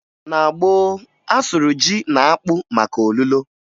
Na gboo, a sụrụ ji na akpụ maka olulo